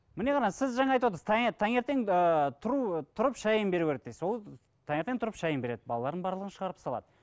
міне қараңыз сіз жаңа айтып отырсыз таңертең ыыы тұрып шайын беру керек дейсіз ол таңертең тұрып шайын береді балаларын барлығын шығарып салады